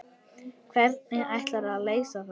Hvernig ætlarðu að leysa það?